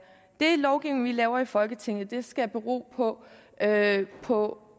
den lovgivning vi laver i folketinget skal bero på at på